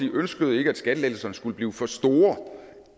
ønskede ikke at skattelettelserne skulle blive for store